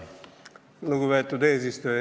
Lugupeetud eesistuja!